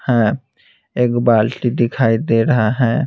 है एक बाल्टी दिखाई दे रहा है।